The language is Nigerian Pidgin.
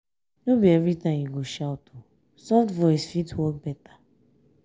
no be every time you go shout soft voice fit work better.